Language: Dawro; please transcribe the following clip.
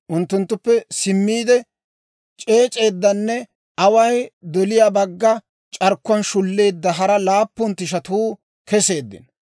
Unttunttuppe simmiide, c'eec'c'edanne away doliyaa bagga c'arkkuwaan shulleedda hara laappun tishatuu keseeddino.